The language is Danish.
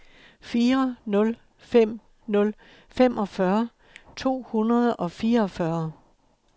fire nul fem nul femogfyrre to hundrede og fireogfyrre